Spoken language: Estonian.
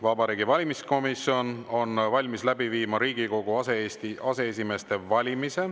Vabariigi Valimiskomisjon on valmis läbi viima Riigikogu aseesimeeste valimise.